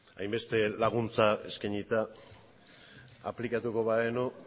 hainbeste laguntza eskainita aplikatuko bagenu guk